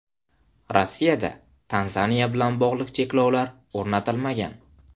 Rossiyada Tanzaniya bilan bog‘liq cheklovlar o‘rnatilmagan.